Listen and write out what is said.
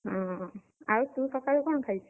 ହଁ, ଆଉ ତୁ ସକାଳୁ କଣ ଖାଇଛୁ?